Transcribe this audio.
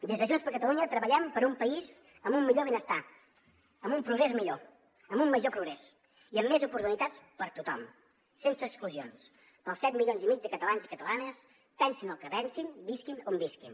des de junts per catalunya treballem per un país amb un millor benestar amb un progrés millor amb un major progrés i amb més oportunitats per a tothom sense exclusions per als set milions i mig de catalans i catalanes pensin el que pensin visquin on visquin